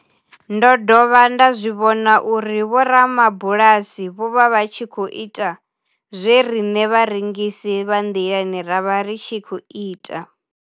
Ndo dovha nda zwi vhona uri vhorabulasi vho vha vha tshi khou ita zwe riṋe vharengisi vha nḓilani ra vha ri tshi khou ita.